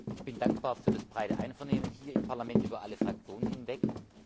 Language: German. Ich bin dankbar für das breite Einvernehmen hier im Parlament über alle Fraktionen hinweg.